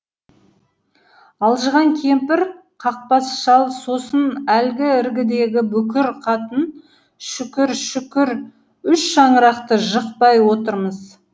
алжыған кемпір қақбас шал сосын әлгі іргедегі бүкір қатын шүкір шүкір үш шаңырақты жықпай отырмыз